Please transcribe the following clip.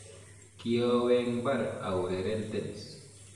kiowe eng mbar aureren tenis.